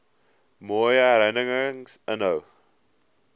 mooi herinnerings inhou